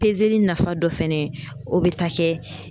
nafa dɔ fɛnɛ ye o bɛ ta kɛ